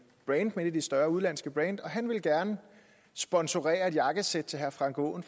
brandet men af de større udenlandske brands og han ville gerne sponsorere et jakkesæt til herre frank aaen